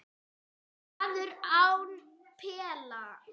Maður án pela